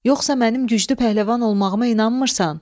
Yoxsa mənim güclü pəhləvan olmağıma inanmırsan?